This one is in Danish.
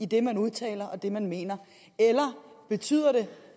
det man udtaler og det man mener eller betyder det